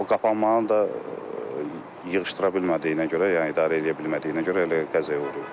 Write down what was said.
O qapanmanı da yığışdıra bilmədiyinə görə, yəni idarə eləyə bilmədiyinə görə elə qəzaya uğrayıbdı.